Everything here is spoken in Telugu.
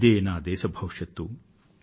ఇదే నా దేశ భవిష్యత్తు